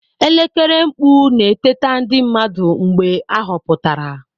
Elekere mkpu na-eteta ndị mmadụ mgbe ahọpụtara.